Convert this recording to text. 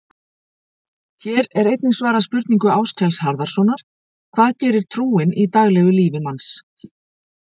Hér er einnig svarað spurningu Áskels Harðarsonar: Hvað gerir trúin í daglegu lífi manns?